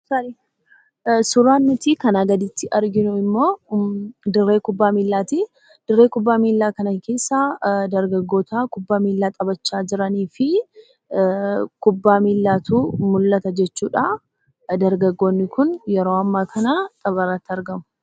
Suuraa nuti kana gaditti arginu immoo dirree kuphaa miillati. dirree kuphaa miillaa kana keessa dargaggoota kuphaa miillaa taphaacha jiraanii fi kuphaa miillaatu mul'ata jechuudha. dargaaggoonni kun yeroo amma kana taphaarratti argamu.